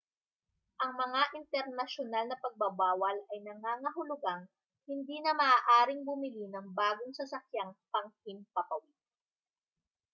ang mga internasyunal na pagbabawal ay nangangahulugang hindi na maaaring bumili ng bagong sasakyang panghimpapawid